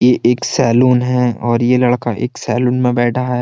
ये एक सैलून है और ये लड़का एक सैलून में बैठा है।